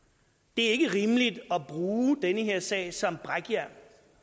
det er ikke rimeligt at bruge den her sag som brækjern